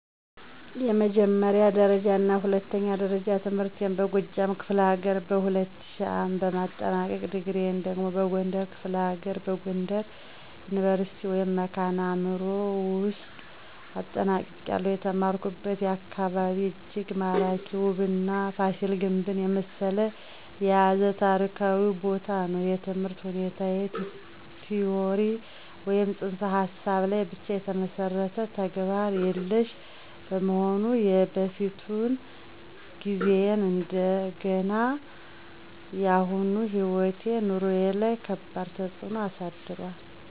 የመጀመሪያ ደረጃና የሁለተኛ ደረጃ ትምህርቴን በጎጃም ክፍለ ሀገር በ2000 ዓ.ም በማጠናቀቅ፤ ዲግሪየን ደግሞ በጎንደር ክፍለ ሀገር በጎንደር ዩኒቨርሲቲ ( መካነ አዕምሮ ) ውውስጥ አጠናቅቄያለሁ። የተማርኩበት አካባቢ እጅግ ማራኪ፣ ውብና ፋሲል ግንብን የመሰለ የያዘ ታሪካዊ ቦታ ነው። የትምህርት ሁኔታው ቲዎሪ ወይም ፅንሰ ሀሳብ ላይ ብቻ የተመሠረተ፣ ተግባር የሌሽ በመሆኑ የበፊቱን ጊዜዬን እንደገናም የአሁኑ ሕይወቴ/ኑሮዬ ላይ ከባድ ተፅእኖ አሳድሯል።